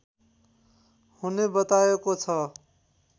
हुने बताएको छ